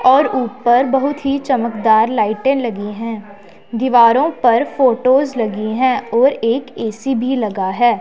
और ऊपर बहुत ही चमकदार लाइटे लगी है। दीवारों पर फोटोस लगी है और एक ए_सी भी लगा है।